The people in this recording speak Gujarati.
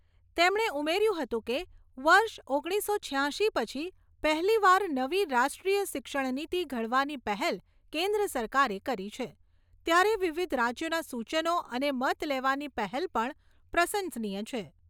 તેમણે ઉમેર્યું હતું કે, વર્ષ ઓગણીસો છ્યાશી પછી પહેલીવાર નવી રાષ્ટ્રીય શિક્ષણ નિતી ઘડવાની પહેલ કેન્દ્ર સરકારે કરી છે, ત્યારે વિવિધ રાજ્યોના સૂચનો અને મત લેવાની પહેલ પણ પ્રશંસનીય છે.